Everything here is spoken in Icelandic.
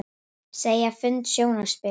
Segja fund sjónarspil